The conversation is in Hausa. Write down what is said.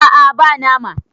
a a ba nama